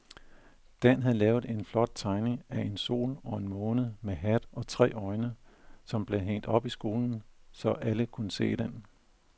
Dan havde lavet en flot tegning af en sol og en måne med hat og tre øjne, som blev hængt op i skolen, så alle kunne se den.